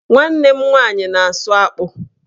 Nwanne m nwaanyị na-asụ akpụ